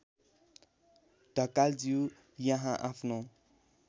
ढकालज्यू यहाँ आफ्नो